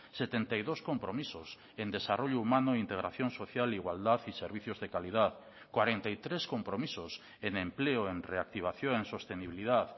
setenta y dos compromisos en desarrollo humano integración social igualdad y servicios de calidad cuarenta y tres compromisos en empleo en reactivación en sostenibilidad